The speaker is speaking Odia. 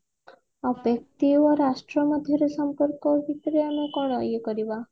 ବ୍ୟକ୍ତି ଓ ରାଷ୍ଟ୍ର ମଧ୍ୟରେ ସମ୍ପର୍କ ଭୀତରେ ଆମେ କଣ ଇଏ କରିବା